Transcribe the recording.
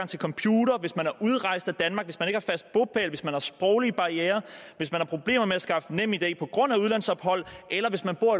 til computer hvis man er udrejst af danmark hvis man ikke har fast bopæl hvis man har sproglige barrierer hvis man har problemer med at skaffe nemid på grund af udlandsophold eller hvis man bor